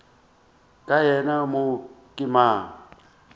ka yena mo ke mang